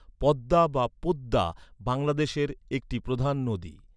পদ্মা বা পোদ্দা বাংলাদেশের একটি প্রধান নদী।